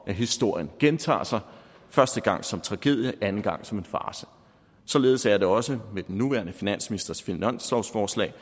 at historien gentager sig første gang som tragedie anden gang som farce således er det også med den nuværende finansministers finanslovsforslag